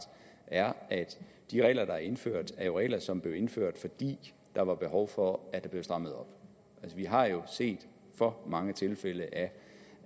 er at de regler der er indført jo er regler som blev indført fordi der var behov for at der blev strammet op vi har set for mange tilfælde